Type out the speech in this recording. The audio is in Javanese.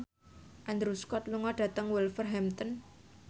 Andrew Scott lunga dhateng Wolverhampton